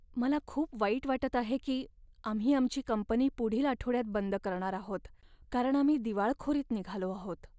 मला खूप वाईट वाटत आहे की आम्ही आमची कंपनी पुढील आठवड्यात बंद करणार आहोत, कारण आम्ही दिवाळखोरीत निघालो आहोत.